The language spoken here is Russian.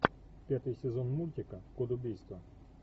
пятый сезон мультика код убийства